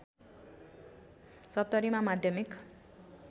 सप्तरीमा माध्यमिक